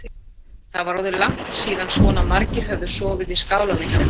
Það var orðið langt síðan svona margir höfðu sofið í skálanum hjá þeim.